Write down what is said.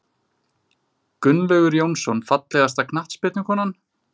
Gunnlaugur Jónsson Fallegasta knattspyrnukonan?